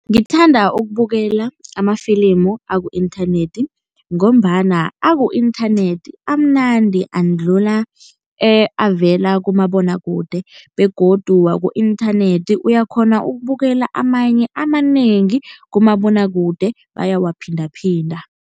Ngithanda ukubukela amafilimu aku-inthanethi ngombana aku-inthanethi amunandi andlula avela kumabonwakude begodu waku-inthanethi uyakghona ukubukela amanye amanengi, kumabonwakude bayawaphindaphinda.